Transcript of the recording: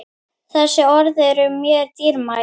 Þessi orð eru mér dýrmæt.